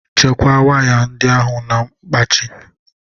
Chekwaa waya ndị ahụ na mkpachị.